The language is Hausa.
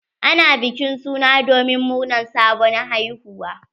Ana bikin suna domin murnar sabon haihuwa.